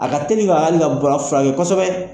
A ka teli ka hali ka bana furakɛ kosɛbɛ